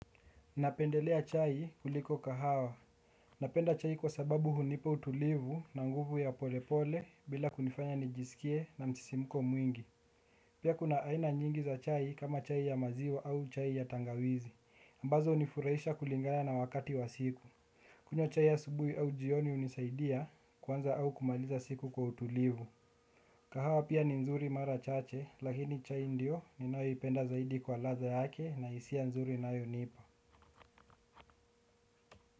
Napendelea chai kuliko kahawa. Napenda chai kwa sababu hunipa utulivu na nguvu ya polepole bila kunifanya nijisikie na msisimuko mwingi. Pia kuna aina nyingi za chai kama chai ya maziwa au chai ya tangawizi. Ambazo hunifuraisha kulingana na wakati wa siku. Kunywa chai ya asubuhi au jioni hunisaidia kuanza au kumaliza siku kwa utulivu. Kahawa pia ni nzuri mara chache lakini chai ndio ninayoipenda zaidi kwa ladha yake na hisia nzuri inayonipa.